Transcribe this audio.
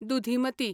दुधिमती